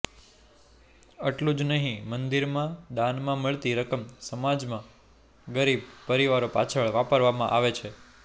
એટલું જ નહીં મંદિરમાં દાનમાં મળતી રકમ સમાજમાં ગરીબ પરિવારો પાછળ વાપરવામાં આવે છે